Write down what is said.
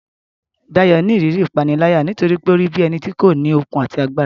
Dayo ni ìrírí ìpániláyà nítorí pé ó rí bí ẹni tí kò ní okun àti agbára.